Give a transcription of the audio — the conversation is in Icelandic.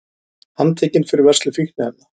Handtekinn fyrir vörslu fíkniefna